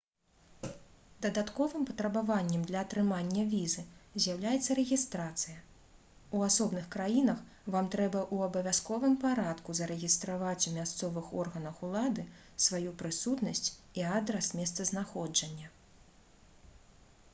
дадатковым патрабаваннем для атрымання візы з'яўляецца рэгістрацыя у асобных краінах вам трэба ў абавязковым парадку зарэгістраваць у мясцовых органах улады сваю прысутнасць і адрас месцазнаходжання